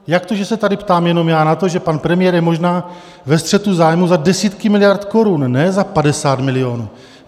Jak to, že se tady ptám jenom já na to, že pan premiér je možná ve střetu zájmu za desítky miliard korun, ne za 50 milionů?